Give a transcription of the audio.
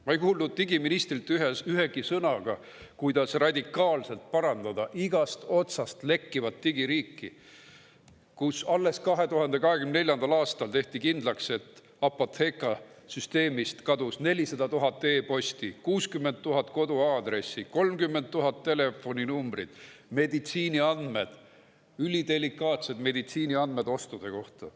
Ma ei kuulnud digiministrilt ühtegi sõna selle kohta, kuidas radikaalselt parandada igast otsast lekkivat digiriiki, kui alles 2024. aastal tehti kindlaks, et Apotheka süsteemist 400 000 e‑posti, 60 000 koduaadressi, 30 000 telefoninumbrit, meditsiiniandmed, ülidelikaatsed meditsiiniandmed ostude kohta.